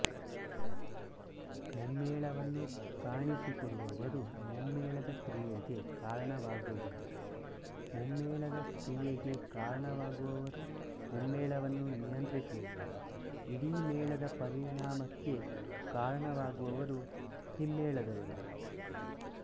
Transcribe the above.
ಮುಮ್ಮೇಳವನ್ನು ಕಾಣಿಸಿಕೊಡುವವರು ಮುಮ್ಮೆಮ್ಮೇಳದ ಕ್ರಿಯೆಗೆ ಕಾರಣವಾಗುವವರು ಮುಮ್ಮೇಳದ ಕ್ರಿಯೆಗೆ ಕಾರಣವಾಗುವವರು ಮುಮ್ಮೇಳವನ್ನು ನಿಯಂತ್ರಿಸುವವರು ಇಡೀ ಮೇಳದ ಪರಿಣಾಮಕ್ಕೆ ಕಾರಣವಾಗುವವರು ಹಿಮ್ಮೆಮ್ಮೇಳದವರು